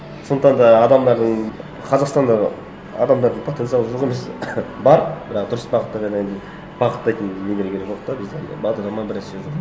сондықтан да адамдардың қазақстандағы адамдардың потенциалы жоқ емес бар бірақ дұрыс бағытта бағыттайтын нелер керек жоқ та бізде анандай бағдарлама бір нәрселер жоқ